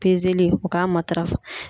u k'a matarafa